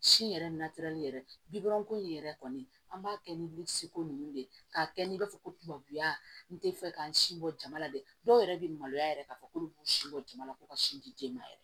Si yɛrɛ yɛrɛ bibon ko in yɛrɛ kɔni an b'a kɛ ni ko nunnu de ye k'a kɛ n'i b'a fɔ ko tubabuya n tɛ fɛ k'an sin bɔ jama la dɛ dɔw yɛrɛ be maloya yɛrɛ k'a fɔ k'olu b'u si bɔ jama la ko ka sin di den ma yɛrɛ